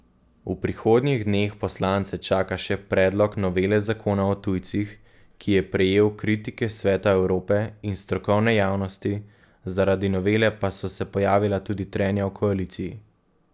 V prihodnjih dneh poslance čaka še predlog novele zakona o tujcih, ki je prejel kritike Sveta Evrope in strokovne javnosti, zaradi novele pa so se pojavila tudi trenja v koaliciji.